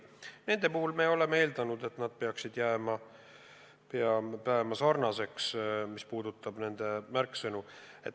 Nende mõõdikute puhul me oleme eeldanud, et need peaksid jääma samaks.